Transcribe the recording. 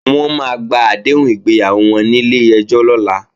Wọ́n máa gba àdéhùn ìgbéyàwó wọn nílé ẹjọ́ lọ́la